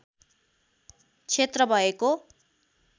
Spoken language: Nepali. क्षेत्र भएको